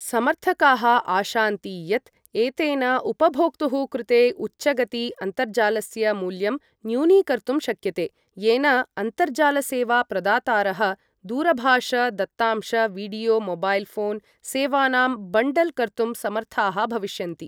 समर्थकाः आशान्ति यत् एतेन उपभोक्तुः कृते उच्चगति अन्तर्जालस्य मूल्यं न्यूनीकर्तुं शक्यते, येन अन्तर्जाल सेवा प्रदातारः दूरभाष दत्तांश वीडियो मोबाइल फोन सेवानां बण्डल् कर्तुं समर्थाः भविष्यन्ति ।